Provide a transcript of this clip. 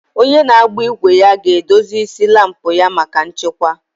Onye na-agba igwe ya ga-edozi isi laampụ ya maka nchekwa.